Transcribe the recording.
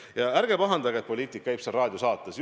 Ja ärge pahandage, et poliitik käib raadiosaates.